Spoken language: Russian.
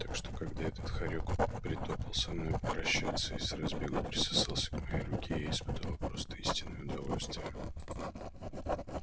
так что когда этот хорёк притопал со мной прощаться и с разбегу присосался к моей руке я испытала просто истинное удовольствие